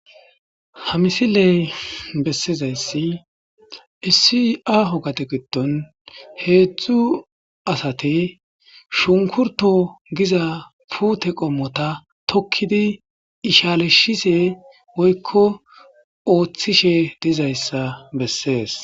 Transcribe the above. Ha misiley bessizayssi issi aho gade giddon heedzdzu asati shunkurtto giza puute qommota tokkidi ishalishise woykko ooththishe dizayssa bessees.